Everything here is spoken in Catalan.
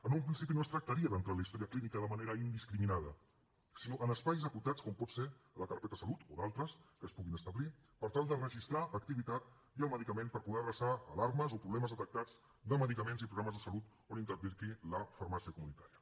en un principi no es tractaria d’entrar en la història clínica de manera indiscriminada sinó en espais acotats com pot ser la carpeta de salut o d’altres que es puguin establir per tal de registrar activitat i el medicament per poder adreçar alarmes o problemes detectats de medicaments i programes de salut on intervingui la farmàcia comunitària